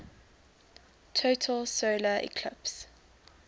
total solar eclipse